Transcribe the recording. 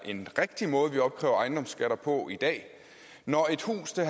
en rigtig måde vi opkræver ejendomsskatter på i dag når et hus til